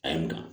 A ye nga